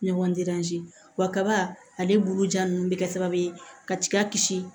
Ɲɔgɔn wa kaba ale bolo ja nunnu be kɛ sababu ye ka tiga kisi